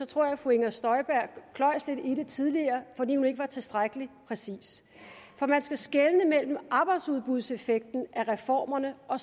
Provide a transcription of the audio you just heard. tror at fru inger støjberg kløjes lidt i det tidligere fordi hun ikke var tilstrækkelig præcis for man skal skelne imellem arbejdsudbudseffekten af reformerne og